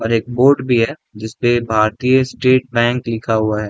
और एक बोर्ड भी है जिसपे भारतीय स्टेट बैंक लिखा हुआ है।